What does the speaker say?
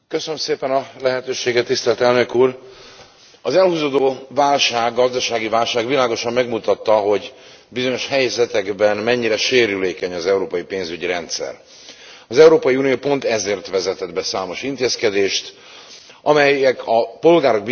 Elnök Úr, az elhúzódó gazdasági válság világosan megmutatta, hogy bizonyos helyzetekben mennyire sérülékeny az európai pénzügyi rendszer. Az Európai Unió pont ezért vezetett be számos intézkedést, amelyek a polgárok biztonságát garantálhatják.